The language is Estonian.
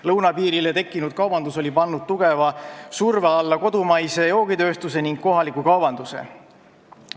Lõunapiirile tekkinud kaubandus oli pannud tugeva surve alla kodumaise joogitööstuse ning kohaliku kaubanduse.